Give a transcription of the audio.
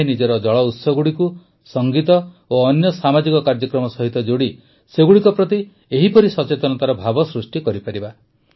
ଆମେ ନିଜର ଜଳଉତ୍ସଗୁଡ଼ିକୁ ସଂଗୀତ ଓ ଅନ୍ୟ ସାମାଜିକ କାର୍ଯ୍ୟକ୍ରମ ସହିତ ଯୋଡ଼ି ସେଗୁଡ଼ିକ ପ୍ରତି ଏହିପରି ସଚେତନତାର ଭାବ ସୃଷ୍ଟି କରିପାରିବା